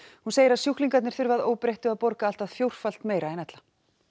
hún segir að sjúklingarnir þurfi að óbreyttu að borga allt að fjórfalt meira en ella